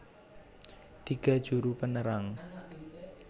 Tiga Juru penerang